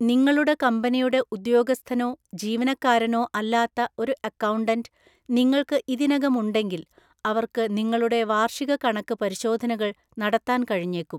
നിങ്ങളുടെ കമ്പനിയുടെ ഉദ്യോഗസ്ഥനോ ജീവനക്കാരനോ അല്ലാത്ത ഒരു അക്കൗണ്ടന്റ് നിങ്ങൾക്ക് ഇതിനകം ഉണ്ടെങ്കിൽ അവർക്ക് നിങ്ങളുടെ വാർഷിക കണക്കു പരിശോധനകൾ നടത്താൻ കഴിഞ്ഞേക്കും.